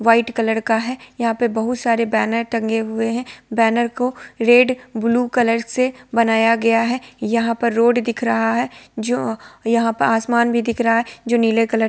White colour का है। यहा पर बहुत सारे बेनर टंगे हुये है| बेनर को रेड ब्लू कलर से बनाया गया है। यहा पर रोड दिख रहा है| जो यहा पर आसमान भी दिखर रहा है जो नीले कलर --